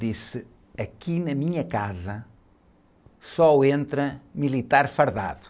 disse, aqui na minha casa só entra militar fardado.